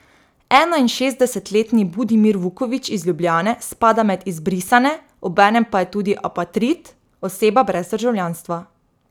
Enainšestdesetletni Budimir Vuković iz Ljubljane spada med izbrisane, obenem pa je tudi apatrid, oseba brez državljanstva.